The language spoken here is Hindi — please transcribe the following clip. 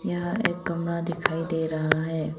यहां एक कमरा दिखाई दे रहा है।